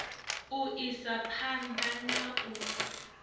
u isa phanḓa na u